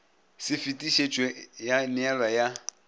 se fetišetšwe ya neelwa ya